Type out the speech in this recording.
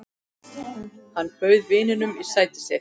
Hann bauð vininum sætið sitt.